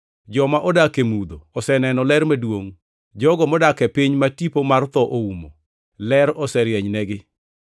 joma odak e mudho oseneno ler maduongʼ; jogo modak e piny ma tipo mar tho oumo, ler oserienynegi.” + 4:16 \+xt Isa 9:1,2\+xt*